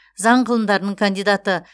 заң ғылымдарының кандидаты